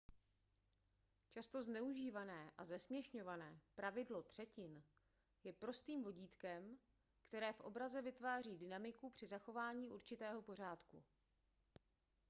často zneužívané a zesměšňované pravidlo třetin je prostým vodítkem které v obraze vytváří dynamiku při zachování určitého pořádku